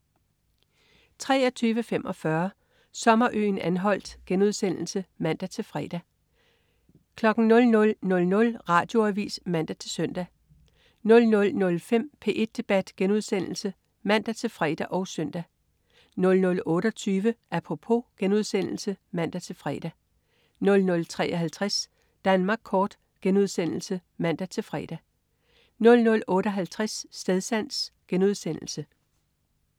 23.45 Sommerøen Anholt* (man-fre) 00.00 Radioavis (man-søn) 00.05 P1 Debat* (man-fre og søn) 00.28 Apropos* (man-fre) 00.53 Danmark kort* (man-fre) 00.58 Stedsans*